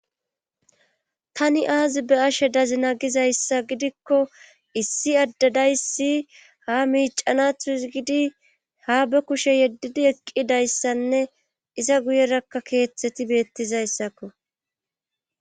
tani aazi be'ashe dazina gizayssa gidikko issi addadayssi ha miicanathu s gidi ha be kushe yeddidi eqqidayssanne iza guyerakka keeththeti beettizayssakko